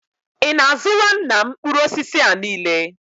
Ị na-azụra nna m mkpụrụ osisi a niile?